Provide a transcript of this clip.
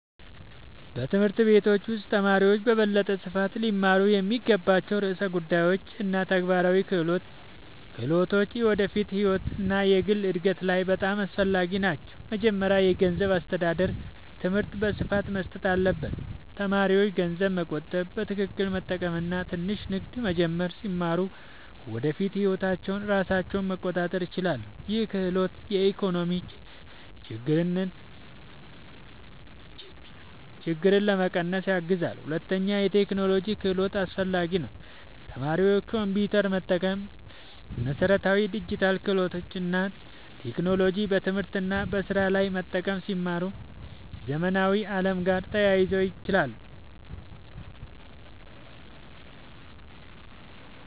በትምህርት ቤቶች ውስጥ ተማሪዎች በበለጠ ስፋት ሊማሩ የሚገባቸው ርዕሰ ጉዳዮች እና ተግባራዊ ክህሎቶች የወደፊት ህይወት እና የግል እድገት ላይ በጣም አስፈላጊ ናቸው። መጀመሪያ የገንዘብ አስተዳደር ትምህርት በስፋት መሰጠት አለበት። ተማሪዎች ገንዘብ መቆጠብ፣ በትክክል መጠቀም እና ትንሽ ንግድ መጀመር ሲማሩ በወደፊት ህይወታቸው ራሳቸውን መቆጣጠር ይችላሉ። ይህ ክህሎት የኢኮኖሚ ችግኝትን ለመቀነስ ያግዛል። ሁለተኛ የቴክኖሎጂ ክህሎት አስፈላጊ ነው። ተማሪዎች ኮምፒውተር መጠቀም፣ መሠረታዊ ዲጂታል ክህሎት እና ቴክኖሎጂን በትምህርት እና በስራ ላይ መጠቀም ሲማሩ የዘመናዊ ዓለም ጋር ተያይዞ ይችላሉ።